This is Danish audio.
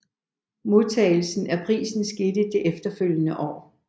Modtagelsen af prisen skete det efterfølgende år